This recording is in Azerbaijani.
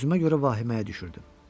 Özümə görə vahiməyə düşürdüm.